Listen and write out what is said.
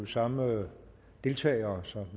samme deltagere så